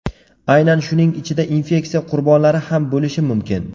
Aynan shuning ichida infeksiya qurbonlari ham bo‘lishi mumkin.